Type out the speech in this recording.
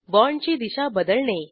बाँडची दिशा बदलणे